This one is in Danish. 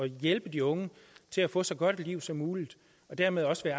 hjælpe de unge til at få et så godt liv som muligt og dermed også til at